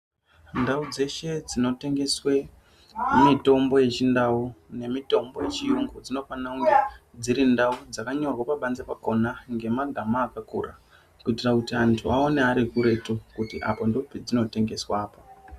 Ndau dzeshe dzinotengeswe mitombo yechindau nemitombo yechiyungu dzinofanire kunge dziri ndau dzakanyorwe pabanze pakona ngemagama akakura kuitira kuti antu aone ari kuretu kuti apo ndipo padzinotengeswa apo.